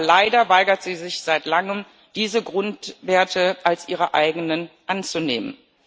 Aber leider weigert sie sich seit Langem, diese Grundwerte als ihre eigenen anzunehmen.